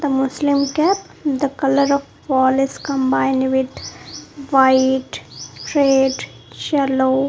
the muslim cap the colour of wall is combined with white red yellow.